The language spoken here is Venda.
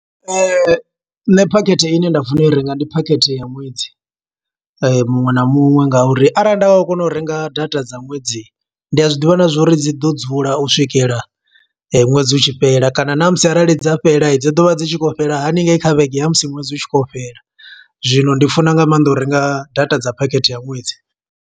Nṋe phakhethe ine nda funa u i renga, ndi phakhethe ya ṅwedzi muṅwe na muṅwe. Nga uri arali nda nga kona u renga data dza ṅwedzi, ndi a zwiḓivha na zwo uri dzi ḓo dzula u swikelela ṅwedzi utshi fhela. Kana na musi arali dza fhela, dzI ḓo vha dzi tshi khou fhela haningei kha vhege ya musi ṅwedzi u tshi khou yo fhela. Zwino ndi funa nga maanḓa u renga data dza phakhethe ya ṅwedzi.